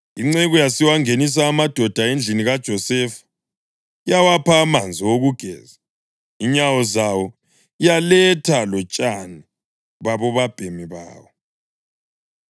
Inceku yasiwangenisa amadoda endlini kaJosefa, yawapha amanzi okugeza inyawo zawo, yaletha lotshani babobabhemi bawo.